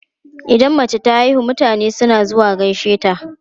Idan mace ta haihu, mutane suna zuwa gaishe ta.